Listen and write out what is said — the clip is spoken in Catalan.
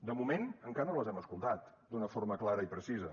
de moment encara no les hem escoltat d’una forma clara i precisa